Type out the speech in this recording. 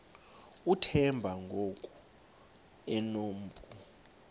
uthemba ngoku enompu